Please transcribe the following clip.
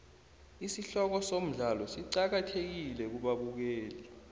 isihloko somdlalo siqakathekile kubabukeli